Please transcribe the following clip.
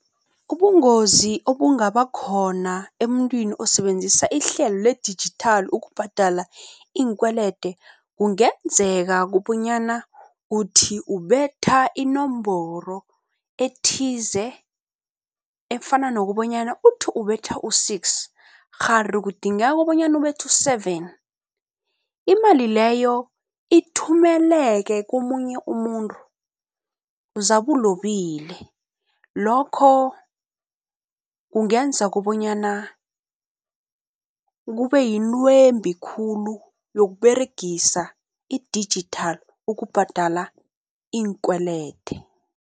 Ubungozi obungaba khona emntwini osebenzisa ihlelo le-digital ukubhadala iinkwelede, kungenzeka kobonyana uthi ubetha inomboro ethize efana nokobonyana uthi ubetha u-six kghari kudingeka bonyana ubethe u-seven. Imali leyo ithumele-ke komunye umuntu zabe ulobile, lokho kungenza kobonyana kube yintwembi khulu yokuberegisa i-digital ukubhadala iinkwelede.